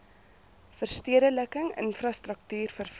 verstedeliking infrastruktuur vervoer